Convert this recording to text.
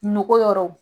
Nogo yɔrɔw